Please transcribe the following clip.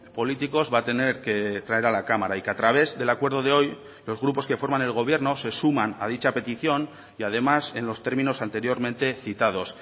políticos va a tener que traer a la cámara y que a través del acuerdo de hoy los grupos que forman el gobierno se suman a dicha petición y además en los términos anteriormente citados